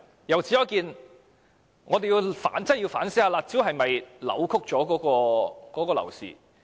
由此可見，我們要認真反思，"辣招"是否扭曲了樓市？